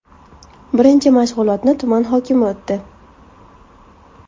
Birinchi mashg‘ulotni tuman hokimi o‘tdi.